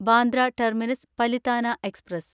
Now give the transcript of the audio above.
Bandra terminus Palitana express